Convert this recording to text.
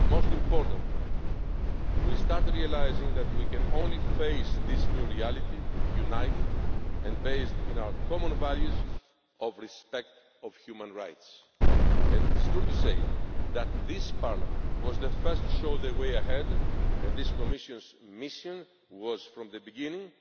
mobility. Most importantly, we have started realising that we can only face this new reality united and based on our common values of respect for human rights, and it is true that this Parliament was the first to show the way ahead and this Commission's mission was from the